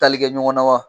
Tali kɛ ɲɔgɔnna wa